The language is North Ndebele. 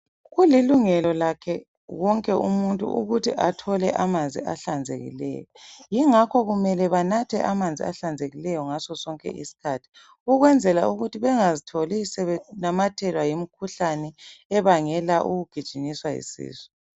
Kulilungela lakhe wonke umuntu ukuthi athole amanzi ahlanzekileyo ingakho kumele banathe amanzi ahlanzekileyo ngazo sonke isikhathi ukwenzela ukuthi bengazitholi sebenamathelwa yimikhuhlane ebangelwa yikugijinyiswa yisisu